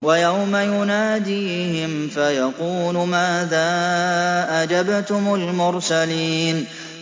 وَيَوْمَ يُنَادِيهِمْ فَيَقُولُ مَاذَا أَجَبْتُمُ الْمُرْسَلِينَ